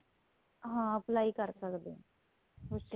ਹਾਂ apply ਕਰ ਸਕਦੇ ਆ ਉਸ ਚ